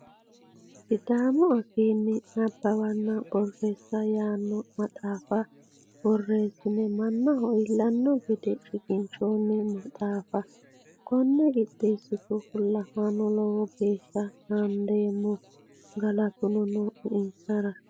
Sidaamu afiinni nabbawanna borreessa yaano maxaafa borreessine mannaho iillano gede shiqqinshonni maxaafa kone qixeessitu fullahano lowo geeshsha naadeemmo galatuno nooe insara.